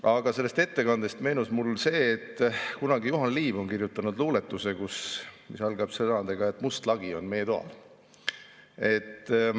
Aga sellest ettekandest meenus mulle see, et kunagi Juhan Liiv on kirjutanud luuletuse, mis algab sõnadega, et must lagi on meie toal.